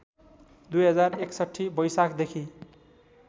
२०६१ वैशाखदेखि